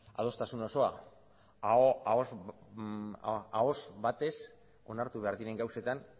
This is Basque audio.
adostasun osoa ahoz batez onartu behar diren gauzetan